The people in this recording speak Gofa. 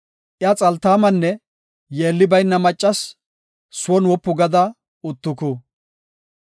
Iya xaltaamanne yeelli bayna maccas; son wopu gada uttuku.